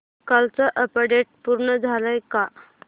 कालचं अपडेट पूर्ण झालंय का